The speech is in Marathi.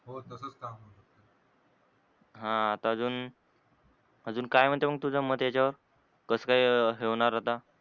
हा आता अजू अजून काय म्हणते तुझ मत याच्यावर कस काय हे होणार आता?